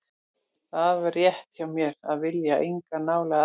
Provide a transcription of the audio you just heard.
Það er rétt hjá mér að vilja enga nálægð aðra en þína.